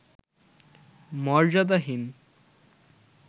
মর্যাদাহীন